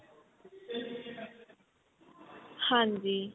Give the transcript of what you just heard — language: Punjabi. ਹਾਂਜੀ